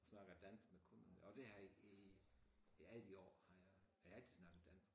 Snakker dansk med kunderne og det jeg i i alle de år har jeg jeg har altid snakket dansk